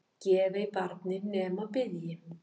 Gef ei barni nema biðji.